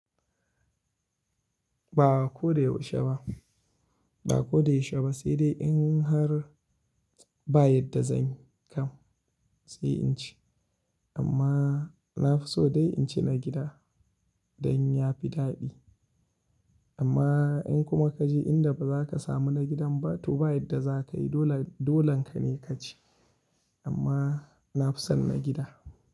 Ba ko da yaushe ba, ba ko da yaushe ba sai dai in har ba yadda zan kam sai in ci. Amma na fi so dai in ci na gida dan ya fi daɗi. Amma in kuma ka je inda ba za ka samu na gidan ba to ba yadda za ka yi dolan ka ne ka ci. Amma na fi son na gida.